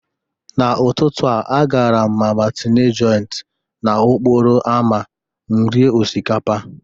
N'ụtụtụ a, agara m mama tinye Joint n'okporo ámá m rie osikapa.